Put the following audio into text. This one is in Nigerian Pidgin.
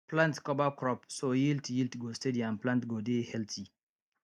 plant cover crops so yield yield go steady and plant go dey healthy